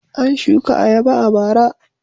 An shuka ayaba a bara.